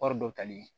Wari dɔ tali